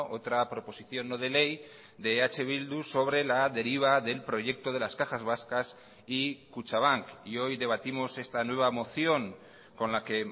otra proposición no de ley de eh bildu sobre la deriva del proyecto de las cajas vascas y kutxabank y hoy debatimos esta nueva moción con la que